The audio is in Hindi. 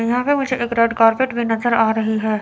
यहां पे मुझे एक रेड कारपेट भी नजर आ रही है।